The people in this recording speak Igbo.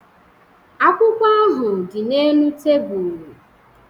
Akwụkwọ ahụ dị n'elu tebụl